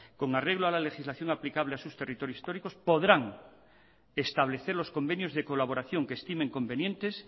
con arreglo a la legislación aplicable a sus territorios históricos podrán establecer los convenios de colaboración que estimen convenientes